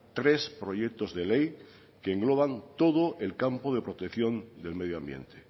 tres proyectos de ley que engloban todo el campo de protección del medio ambiente